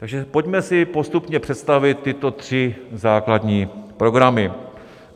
Takže si pojďme postupně představit tyto tři základní programy.